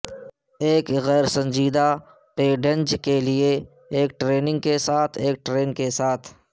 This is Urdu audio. ایک غیر سنجیدہ پیڈینج کے لئے ایک ٹریننگ کے ساتھ ایک ٹرین کے ساتھ